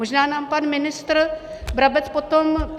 Možná nám pan ministr Brabec potom...